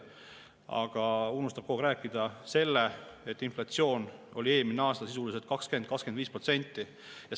Aga ta unustab rääkida sellest, et inflatsioon oli eelmine aasta sisuliselt 20–25%.